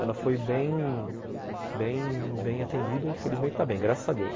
Ela foi bem bem atendida e infelizmente está bem, graças a Deus.